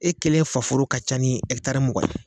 E kelen faforo ka ca ni Ɛkitari mugan ye